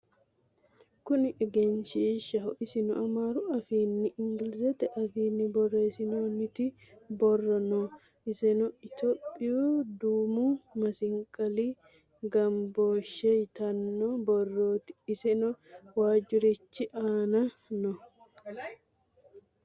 Kunni egenishishaho issino amaarru afinina iniggilizete afiini borressinnoniti borro noo issenno itopiyu duummu massiqqali gamiboshshe yiittano borrotti iseno waajurorichi annano